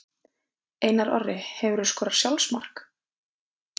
Einar Orri Hefurðu skorað sjálfsmark?